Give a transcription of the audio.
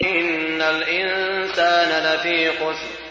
إِنَّ الْإِنسَانَ لَفِي خُسْرٍ